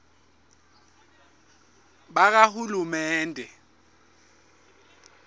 bakahulumende